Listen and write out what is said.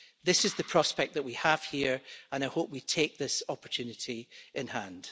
This is the prospect that we have here, and I hope we take this opportunity in hand.